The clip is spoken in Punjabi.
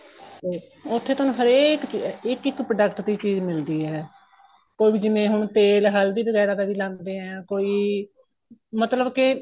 ਉਏ ਉੱਥੇ ਤੁਹਾਨੂੰ ਹਰੇਕ ਇੱਕ ਇੱਕ product ਦੀ ਚੀਜ਼ ਮਿਲਦੀ ਏ ਕੋਈ ਜਿਵੇਂ ਵੀ ਹੁਣ ਤੇਲ ਹਲਦੀ ਵਗੈਰਾ ਦਾ ਵੀ ਲਾਂਦੇ ਏ ਕੋਈ ਮਤਲਬ ਕੇ